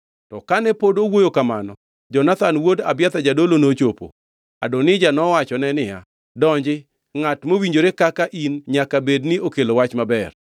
To kane pod owuoyo kamano, Jonathan wuod Abiathar jadolo nochopo. Adonija nowachone niya, “Donji, ngʼat mowinjore kaka in nyaka bed ni okelo wach maber.”